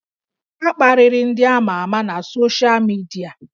A kparịrị ndị amà amà na soshal midia